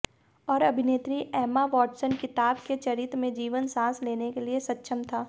और अभिनेत्री Emma Watson किताब के चरित्र में जीवन साँस लेने के लिए सक्षम था